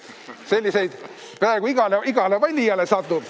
Selliseid satub peaaegu igale valijale.